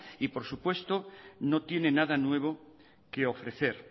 y por supuesto no tiene nada nuevo que ofrecer